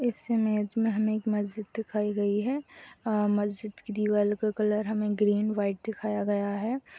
इस इमेज में हमें मस्जिद दिखाई गई हैऔर मस्जिद की दीवाल का कलर हमे ग्रीन और वाइट -- दिखाया गया है।